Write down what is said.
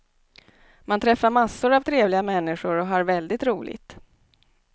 Man träffar massor av trevliga människor och har väldigt roligt.